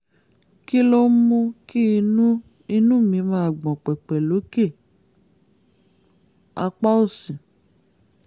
kí ló ń mú kí inú inú mi máa gbọ̀n pẹ̀pẹ̀ lókè apá òsì?